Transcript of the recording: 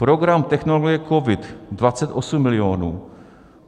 Program Technologie Covid, 28 milionů.